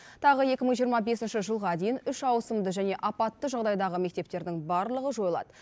тағы екі мың жиырма бесінші жылға дейін үш ауысымды және апатты жағдайдағы мектептердің барлығы жойылады